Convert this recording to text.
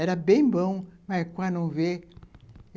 Era bem bom, mas quase não vê.